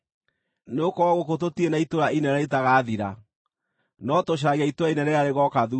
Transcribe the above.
Nĩgũkorwo gũkũ tũtirĩ na itũũra inene rĩtagaathira, no tũcaragia itũũra inene rĩrĩa rĩgooka thuutha-inĩ.